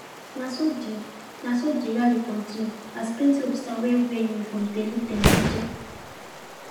na so de na so de rally continue as plenty officers wey wear uniform dey look dem jeje